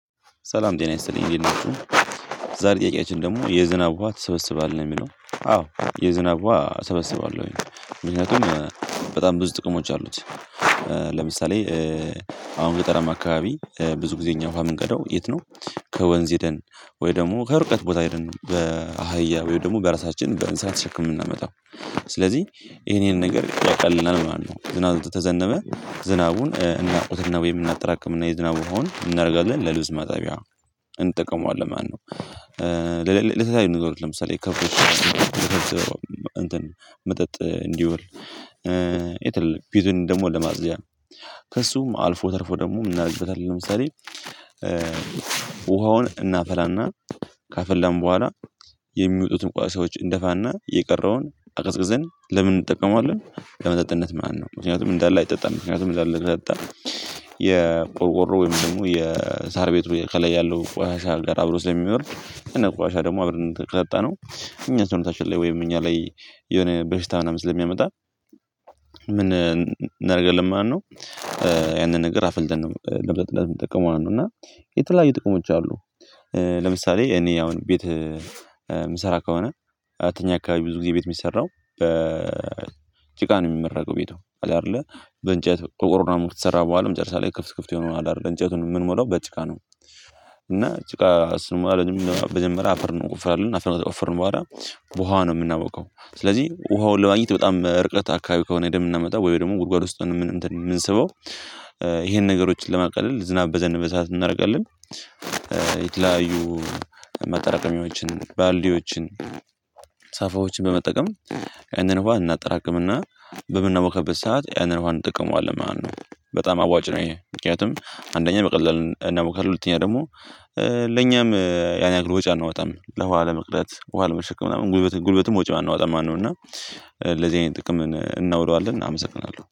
ሰላም ደህና ይስጥልኝ እንዴት ናችሁ። ዛሬ ጥያቄያችን ደግሞ የዝብ ውሃ ትሰበስባለህ የሚለው? አዎ የዝናብ እሰበሰባለሁኝ ምክንያቱም በጣም ብዙ ጥቅሞች አሉት። ለምሳሌ አሁን ገጠራም አካባቢ ብዙ ጊዜ እኛ ውሃ የምንቀዳው የት ነው? ከወንዝ ሄደን ወይ ደግሞ ከርቀት ቦታ ሄደን በአህያ ወይም ደግሞ በራሳችን በእንስሳት ተሸክመን የምናመጣው። ስለዚህ ይሄንን ነገር ያቀልልናል ማለት ነው። ዝናብ ተዘነበ ዝናቡን እናውቁትና ወይ እናጠራቅም እና የዝናብ ውሃን ምን እናደርጋለን? ለልብስ መጠቢያ እንጠቀመዋለን ማለት ነው። ለለተያዩ ንገሮች ለምሳሌ ከፍቶች እንትን መጠጥ እንዲወል የተለየ ቤቱን ደግሞ ለማጽጅያ ነው። ከእሱም አልፎ ተርፎ ደግሞ እናደርግበታለን። ለምሳሌ ውሃውን እናፈላና ካፈለን በኋላ የሚወጡትን ቋሳሻዎች እንደፋና የቀረውን አቀዝቅዘን ለምን እንጠቀመዋለን? ለመጠጥነት ነው ምክንያቱም እንዳለ አይጠጣም ምክንያቱም እንዳለ አይጠጣም። የቆርቆሮ ወይም ደግሞ የሳር ቤቱ ከላይ ያለው ቆሻሻ ጋር አብሮ ስለሚወርድ እኛ ቆሻሻ ደግሞ አብረን ከጠጣነው። እኛ ሰውነታችን ላይ ወይም እኛ ላይ የሆነ በሽታ ምናምን ስለሚያመጣ። ምን እናደርጋለን ማለት ነው። ያንን ነገር አፍልተን ነው ለመጠጣት የምጠቀመው ነው። እና የተለያዩ ጥቅሞች አሉ። ለምሳሌ እኔ አሁን ቤት ሚሰራ ከሆነ ከኛ አካባቢ ብዙ ጊዜ ቤት የሚሰራው በ ጭቃ ነው የሚመረገው ቤቷ አይደለ። በእንጨት በቆርቆሮ ምናምን ከተሰራ በኋላ መጨረሻ ላይ ክፍት ክፍት የሆነው አለ አይደለ እንጨቱን የምንሞላው በጭቃ ነው። እና ጭቃ እሱን ማለት መጀመርያ አፈር እንቆፍራለን አፈር ነው ከቆፈርን በኋላ። በውሃ ነው የምናቦካው። ስለዚህ ውሃውን ለማግኘት በጣም እርቀት አካባቢ ከሆነ ሂዴን የምናመጣው ወይ ደግሞ ጉድጓድ ውስጥ ነው የምን እንትን የምንሰበው። ይሄን ነገሮችን ለማቃለል ዝናብ በዘነበ ሰዓት ምን እናደርጋለን? የተለያዩ ማጠራቀሚያዎችን ባልዲዎችን ሳፋዎችን በመጠቀም ያንን እንኳን እናጠራቅምና በምናቦካበት ሰዓት ያንን ውሃ እንጠቀመዋለን ማለት ነው። በጣም አዋጭ ነው። ይሄ ምክንያቱም አንደኛ በቀላሉ እና ከሁለተኛ ደግሞ ያን ያክል ወጪ አናወጣም ለውሃ ለመቅደት ውሃ ለመሸከም ምናምን ጉልበትም ወጪ አናወጣም ማለት ነውና። እና ለዚህ አይነት ጥቅም እናውለዋለን አመሰግናለሁ